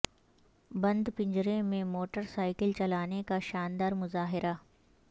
بند پنجرے میں motorcycle چلانے کا شاندار مظاہرہ